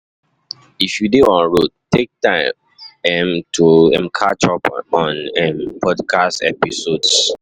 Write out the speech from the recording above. If you dey on road, take time um to um catch up on um podcast episodes.